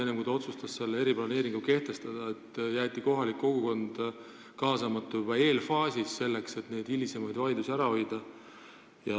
Enne, kui otsustati eriplaneering kehtestada, tulnuks kaasata kohalikku kogukonda, juba eelfaasis, selleks et hilisemaid vaidlusi ära hoida.